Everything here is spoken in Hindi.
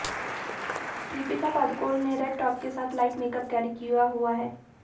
दीपिका पादुकोण ने रेड टॉप के साथ लाइट मेकअप कैरी किया हुआ है